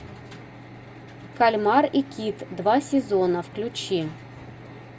кальмар и кит два сезона включи